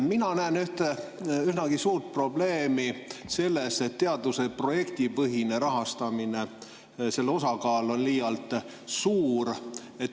Mina näen ühte üsnagi suurt probleemi selles, et teaduse projektipõhise rahastamise osakaal on liialt suur.